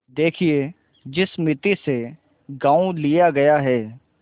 देखिए जिस मिती में गॉँव लिया गया है